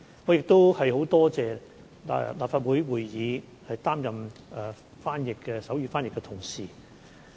我亦很感謝在立法會會議擔任手語翻譯的同事。